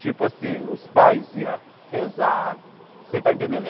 Tipo assim, os pais iam rezar, você está entendendo?